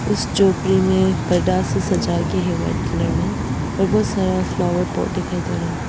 इस झोपड़ी में बड़ा से सजा के है वाइट कलर में और बहुत सारा फ्लावर पॉट दिखाई दे रहा है।